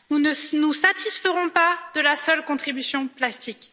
Nous ne satisferons pas de la seule contribution plastique.